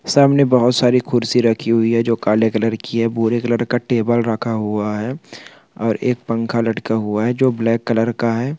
सामने बहुत सारी कुर्सी रखी हुई है जो काले कलर की है भूरे कलर का टेबल रखा हुआ है और एक पंखा लटका हुआ है जो ब्लैक कलर का है।